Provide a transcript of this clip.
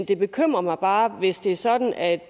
det bekymrer mig bare hvis det er sådan at